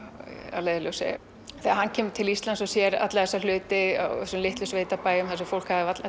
að leiðarljósi þegar hann kemur til Íslands og sér alla þessa hluti á sveitabæjum þar sem fólk hafði varla